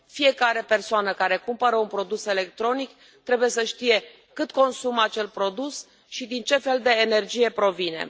Fiecare persoană care cumpără un produs electronic trebuie să știe cât consumă acel produs și din ce fel de energie provine.